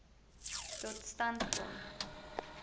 tot stand gekom